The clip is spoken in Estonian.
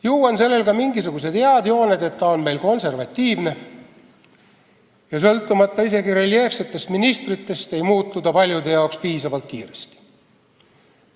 Ju on sellel ka mingisugused head jooned, et ta on meil konservatiivne ja hoolimata isegi reljeefsetest ministritest ei muutu ta paljude arvates piisavalt kiiresti.